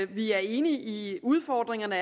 vi er enige i at udfordringerne